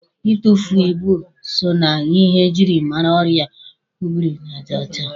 Itufu ibu so na ihe e jiri mara ọrịa obirinajaọcha.